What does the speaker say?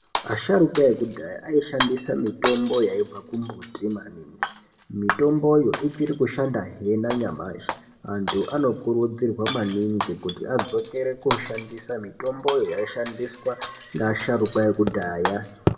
Asharukwa ekudhaya aishandisa mitombo yaibva kumbuti maningi, mitomboyo ichiri kushandahe nanyamashi. Antu anokurudzirwa maningi kuti adzokere koshandisa mitomboyo yaishandiswa ngeasharukwa ekudhaya.